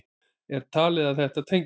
Er talið að þetta tengist?